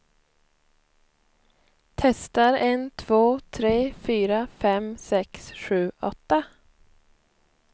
Testar en två tre fyra fem sex sju åtta.